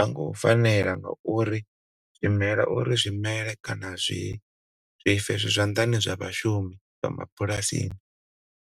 Hango fanela ngauri zwimela uri zwimele kana zwife zwi zwaḓani zwa vhashumi vha mabulasini